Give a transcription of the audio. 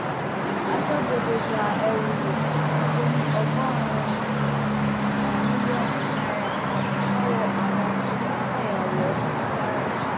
aṣọbodè gba ẹrù òfin tó lé ní ọgọrùnún kan mílíọnù náírà lọwọ àwọn onífàyàwọ ní kwara